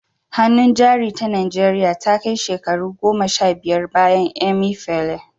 Hannun Jari ta Najeriya Ta Kai Shekara Goma Sha Biyar Bayan Emefiele